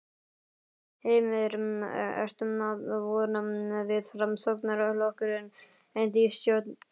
Heimir: Ertu að vona að Framsóknarflokkurinn endi í stjórn?